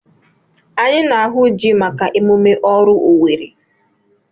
Anyị na-ahụ ji maka emume oru Iwere.